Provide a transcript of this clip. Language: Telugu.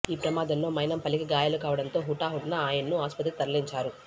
ఈ ప్రమాదంలో మైనంపల్లికి గాయాలు కావడంతో హుటాహుటిన ఆయన్ను ఆసుపత్రికి తరలించారు